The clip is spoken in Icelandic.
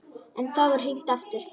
En þá er hringt aftur.